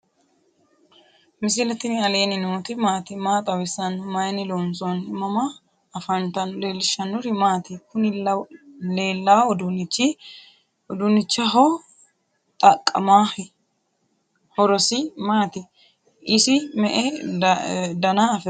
misile tini alenni nooti maati? maa xawissanno? Maayinni loonisoonni? mama affanttanno? leelishanori maati? kuni lelawo udunichi haho xaqamahi? horosi mati? isi me'e daana afirino?